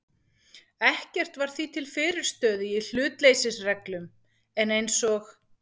Ekkert var því til fyrirstöðu í hlutleysisreglum, en eins og